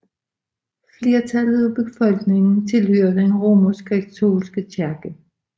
Flertallet af befolkningen tilhører den romerskkatolske kirke